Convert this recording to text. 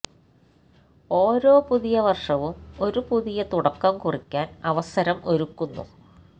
ഓരോ പുതിയ വർഷവും ഒരു പുതിയ തുടക്കം കുറിക്കാൻ അവസരം ഒരുക്കുന്നു